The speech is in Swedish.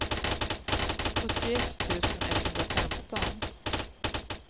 sjuttioett tusen etthundrafemton